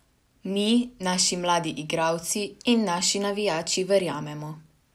Mi, naši mladi igralci in naši navijači verjamemo.